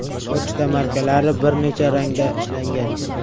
Pochta markalari bir necha rangda ishlangan.